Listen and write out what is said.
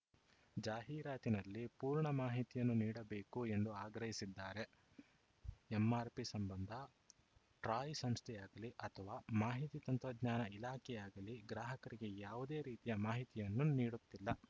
ಜಾಹೀರಾತಿನಲ್ಲಿ ಪೂರ್ಣ ಮಾಹಿತಿಯನ್ನು ನೀಡಬೇಕು ಎಂದು ಆಗ್ರಹಿಸಿದ್ದಾರೆ ಎಂಆರ್‌ಪಿ ಸಂಬಂಧ ಟ್ರಾಯ್‌ ಸಂಸ್ಥೆಯಾಗಲಿ ಅಥವಾ ಮಾಹಿತಿ ತಂತ್ರಜ್ಞಾನ ಇಲಾಖೆಯಾಗಲಿ ಗ್ರಾಹಕರಿಗೆ ಯಾವುದೇ ರೀತಿಯ ಮಾಹಿತಿಯನ್ನು ನೀಡುತ್ತಿಲ್ಲ